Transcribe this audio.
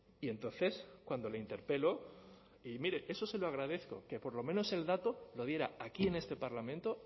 y entonces cuando le interpelo y mire eso se lo agradezco que por lo menos el dato lo diera aquí en este parlamento